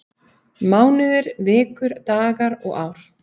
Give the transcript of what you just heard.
Mánuðir, vikur, dagar og ár.